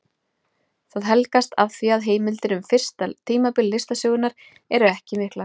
Það helgast af því að heimildir um fyrsta tímabil listasögunnar eru ekki miklar.